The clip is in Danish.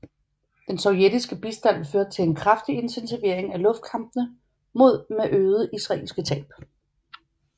Den sovjetiske bistand førte til en kraftig intensivering af luftkampene med øgede israelske tab